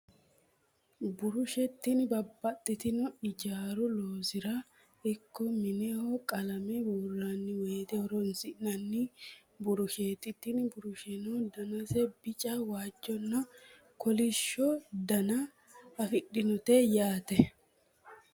burushe tini babbaxino ijaaru loosira ikko mineho qalame buurranni wote horonsi'nanni burusheeti. tini burusheno danase bica, waajjonna, kolishsho dana afidhinote yaate.